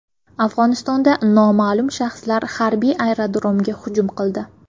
Afg‘onistonda noma’lum shaxslar harbiy aerodromga hujum qildi.